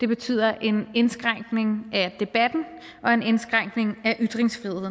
betyder en indskrænkning af debatten og en indskrænkning af ytringsfriheden